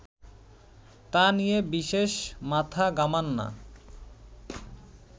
তা নিয়ে বিশেষ মাথা ঘামান না